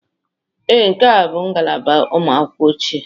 Ee, nke a bụ ngalaba ụmụ akwụkwọ ochie.